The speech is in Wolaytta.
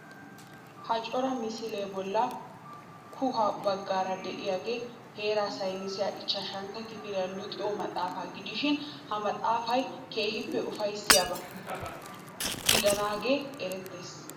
Ha cora misilee bolla koohuwa baggaara de'iyogee heeraa saynisiya ichchashantta kifiliya luxiyo maxaafaa gidishin ha maxaafay keehippe ufayssiyaba gidennaagee erettees.